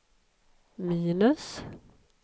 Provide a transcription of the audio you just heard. minus